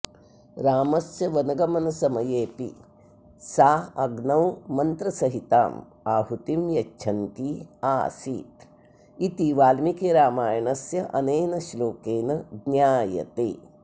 रामस्य वनगमनसमयेऽपि सा अग्नौ मन्त्रसहिताम् आहुतिं यच्छन्ती आसीत् इति वाल्मीकिरामायणस्य अनेन श्लोकेन ज्ञायते